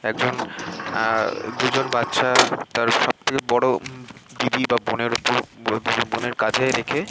একজন এ এ দুজন বাচ্চা তার সব থেকে বড়ো দিদি বা বোনের উপর --